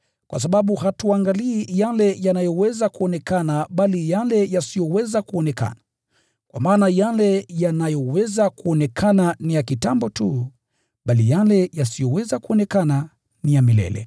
kwa sababu hatuangalii yale yanayoweza kuonekana bali yale yasiyoweza kuonekana. Kwa maana yale yanayoweza kuonekana ni ya kitambo tu, bali yale yasiyoweza kuonekana ni ya milele.